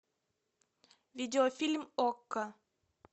видеофильм окко